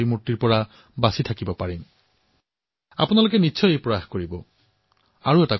মোৰ বিশ্বাস যে আপোনালোকে নিশ্চয়কৈ এনে কৰিব